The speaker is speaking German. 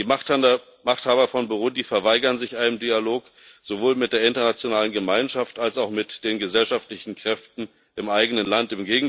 Die Machthaber von Burundi verweigern sich einem Dialog sowohl mit der internationalen Gemeinschaft als auch mit den gesellschaftlichen Kräften im eigenen Land.